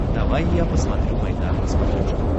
давай я посмотрю майдан на смотрешке